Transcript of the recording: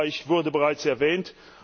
Österreich wurde bereits erwähnt.